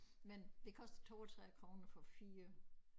Men det koster 32 kroner for 4